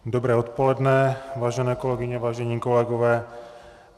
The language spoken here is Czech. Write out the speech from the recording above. Dobré odpoledne, vážené kolegyně, vážení kolegové.